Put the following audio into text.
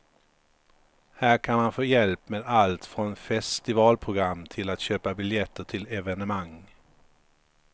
Här kan man få hjälp med allt från festivalprogram till att köpa biljetter till evenemang.